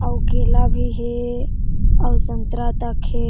अउ केला भी हे और सतरा तक हे।